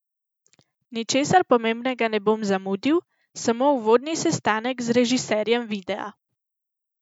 Ničesar pomembnega ne bom zamudil, samo uvodni sestanek z režiserjem videa.